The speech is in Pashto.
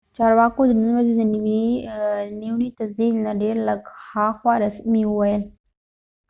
چارواکو د نن ورځې د نیونې د تصدیق نه ډیر لږ هاخوا رسمي وویل